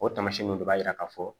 O tamasiyɛnw de b'a yira ka fɔ